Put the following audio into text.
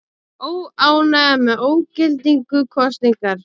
Óánægja með ógildingu kosningar